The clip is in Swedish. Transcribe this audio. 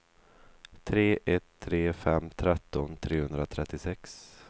tre ett tre fem tretton trehundratrettiosex